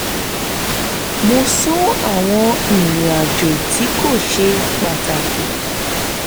mo sún àwọn ìrìnàjò tí kò ṣe pàtàkì